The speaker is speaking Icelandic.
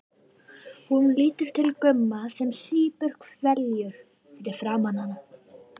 Hún lítur til Gumma sem sýpur hveljur fyrir framan hana.